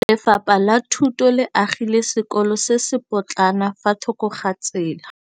Lefapha la Thuto le agile sekôlô se se pôtlana fa thoko ga tsela.